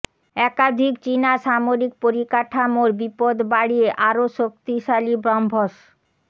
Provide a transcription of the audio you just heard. একাধিক চিনা সামরিক পরিকাঠামোর বিপদ বাড়িয়ে আরও শক্তিশালী ব্রহ্মস